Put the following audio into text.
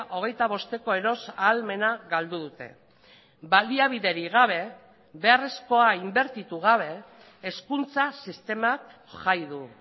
hogeita bosteko eros ahalmena galdu dute baliabiderik gabe beharrezkoa inbertitu gabe hezkuntza sistemak jai du